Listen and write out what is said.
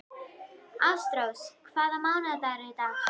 Ástrós, hvaða mánaðardagur er í dag?